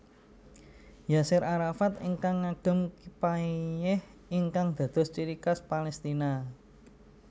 Yaser Arafat ingkang ngagem Kipayeh ingkang dados ciri khas Palestina